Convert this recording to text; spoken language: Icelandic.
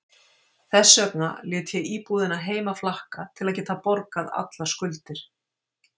Þess vegna lét ég íbúðina heima flakka til að geta borgað allar skuldir.